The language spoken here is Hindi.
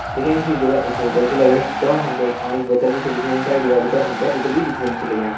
दिखेण सी यू जगा एक होटल च लगणी जमणा हमथे एक पाणी की बोतल भी च दिखेणी साइड दिवाली पर हमथे चित्र भी दिखेण छि लग्यां।